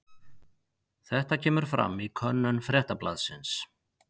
Þetta kemur fram í könnun Fréttablaðsins